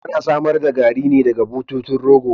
Ana samar da Garri ne daga bututun rogo